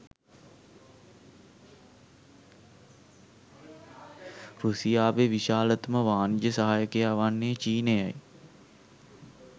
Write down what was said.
රුසියාවේ විශාලතම වාණිජ සහයකයා වන්නේ චීනයයි.